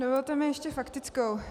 Dovolte mi ještě faktickou.